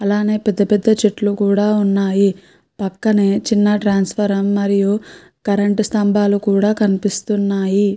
అలాగే పెద్ద పెద్ద చెట్లు కూడా ఉన్నాయి పక్కనే చిన్న ట్రాన్స్ఫార్మర్ కరెంటు స్తంబాలు కూడా కనిపిస్తున్నాయి.